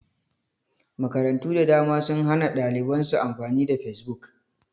Makarantu da dama sun hana ɗaliban su amfani da fesbuk